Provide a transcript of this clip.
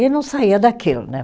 E não saía daquilo, né?